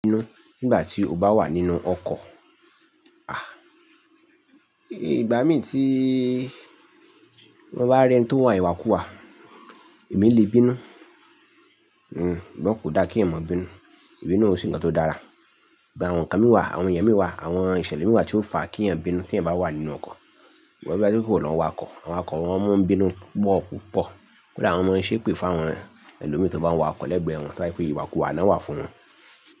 Bínú nígbà tí o bá wà nínú ọkọ̀, à, ìgbà mí tí mo bá rí ẹni tí ó ń wa ìwàkúwà, èmi lè bínú, hm, ṣùgbọ́n kò dá kí èèyàn mọ bínú, ìbínú ò sè nkan tó dára. Gbé àwọn nkan mì wá, àwọn èyàn mì wá, àwọn ìṣẹ̀lẹ̀ mì wá tí ó fàá kí èyàn bínú tí èyàn bá wà nínú ọkọ̀. Tó bá jẹ́ ìwọ ló ń wakọ̀, àwọn awakọ̀ wa mo n bínú púpọ̀púpọ̀. Kódà wọn mo ń ṣépè fún àwọn ẹlòmíi tí ó bá n wa ọkọ̀ lẹ́gbẹ̀ẹ́ wọn, tó bá jẹ́ pé ìwàkúwà ná wà fún wọn.